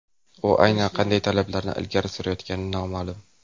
U aynan qanday talablarni ilgari surayotgani noma’lum.